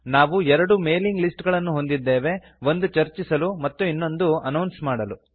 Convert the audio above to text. ನಾವು ಎರಡು mailing list ಗಳನ್ನು ಹೊಂದಿದ್ದೇವೆ ಒಂದು ಚರ್ಚಿಸಲು ಮತ್ತು ಇನ್ನೊಂದು ಅನೌನ್ಸ್ ಮಾಡಲು